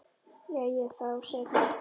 Jæja þá, segir hún.